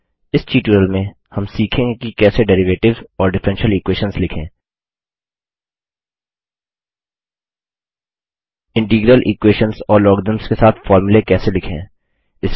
इस ट्यूटोरियल में हम सीखेंगे कि कैसे डेरिवेटिव्स और डिफरेंशियल इक्वेशंस लिखें इंटीग्रल इक्वेशंस और लॉगरिदम्स के साथ फॉर्मूले कैसे लिखें